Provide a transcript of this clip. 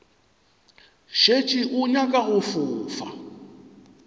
šetše o nyaka go fofa